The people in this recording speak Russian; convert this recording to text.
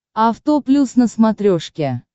авто плюс на смотрешке